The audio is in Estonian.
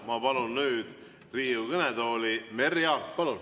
Ma palun nüüd Riigikogu kõnetooli Merry Aarti.